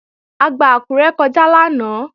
A gba Àkúré kọjá lánàá